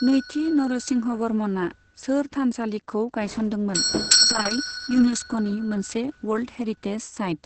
नैथि नरसिंहवर्मनआ शोर थानसालिखौ गायसनदों मोन, जाय युनेस्कोनि मोनसे वर्ल्द हेरिटेज साइत।